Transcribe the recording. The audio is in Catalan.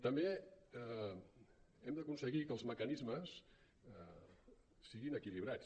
també hem d’aconseguir que els mecanismes siguin equilibrats